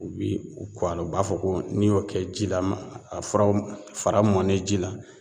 U bi u kɔ a la u b'a fɔ ko n'i y'o kɛ ji la a furaw fara mɔnnen ji la